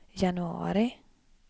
januari